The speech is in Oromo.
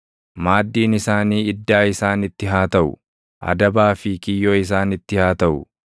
Maaddiin isaanii iddaa isaanitti haa taʼu; adabaa fi kiyyoo isaanitti haa taʼu.